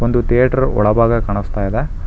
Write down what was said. ಇದು ಥೇಟರ್ ಒಳಭಾಗ ಕಾಣಸ್ತಾ ಇದೆ.